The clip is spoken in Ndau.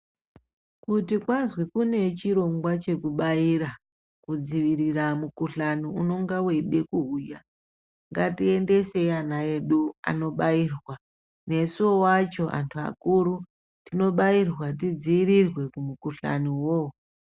Kuti kwazi kune chirongwa chekubaira kudziirira mukhuhlani unenge weide kuuya ngatiendeseyi ana edu anobairwa nesu wo wacho antu akuru tinobairwa tidziirirwe kumukhuhlani uwowowo.